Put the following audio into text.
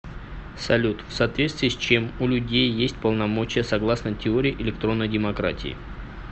салют в соответствии с чем у людей есть полномочия согласно теории электронной демократии